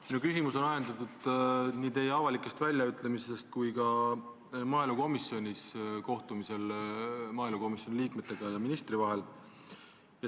Minu küsimus on ajendatud nii teie avalikest väljaütlemistest kui ka teie sõnavõttudest maaelukomisjoni liikmete ja ministri vahelisel kohtumisel.